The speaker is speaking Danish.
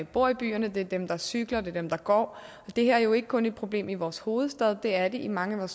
bor i byerne det er dem der cykler det er dem der går det her er jo ikke kun et problem i vores hovedstad det er det i mange